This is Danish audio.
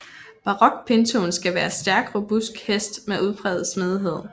Barock pintoen skal være stærk robust hest med udpræget smidighed